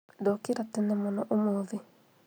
ndokĩra tene mũno ũmũthĩ